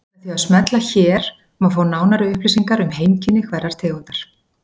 Með því að smella hér má fá nánari upplýsingar um heimkynni hverrar tegundar.